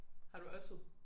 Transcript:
Har du oddset?